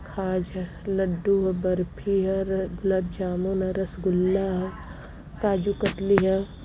खाजा लड्डू ह बर्फी ह र-गुलाब जामुन ह रसगुल्ला ह काजू कतरी ह ।